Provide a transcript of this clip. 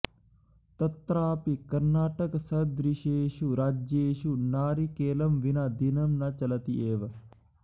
तत्रापि कर्णाटकसदृशेषु राज्येषु नारिकेलं विना दिनं न चलति एव